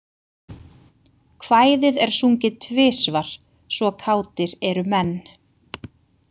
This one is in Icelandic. Kvæðið er sungið tvisvar, svo kátir eru menn.